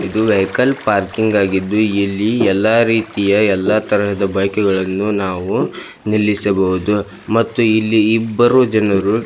ಇದು vehicle parking ಆಗಿದ್ದು ಇಲ್ಲಿ ಎಲ್ಲಾ ರೀತಿಯ ಎಲ್ಲಾ ತರಹದ ಬೈಕುಗಳನ್ನು ನಾವು ನಿಲ್ಲಿಸಬಹುದು ಮತ್ತು ಇಲ್ಲಿ ಇಬ್ಬರು ಜನರು --